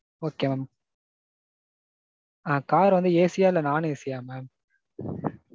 Okay mam. Ah car வந்து AC யா இல்ல non - AC யா mam?